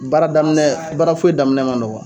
Baaradaminɛ baara foyi daminɛ ma nɔgɔn.